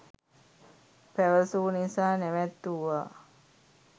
පැවසූ නිසා නැවැත්තුවා